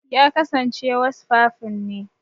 Ya kasance wasfafin ne.